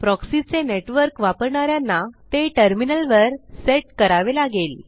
proxy चे network वापरणा यांना ते टर्मिनल वर सेट करावे लागेल